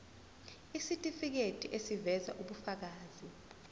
isitifiketi eziveza ubufakazi